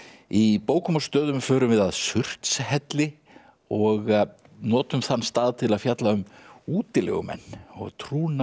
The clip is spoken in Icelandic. í bókum og stöðum förum við að Surtshelli og notum þann stað til að fjalla um útilegumenn og trúna